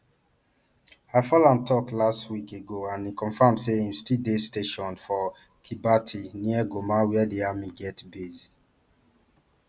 i follow am tok last week ago and e confam say im stll dey stationed for kibati near goma where di army get base